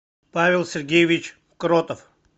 павел сергеевич кротов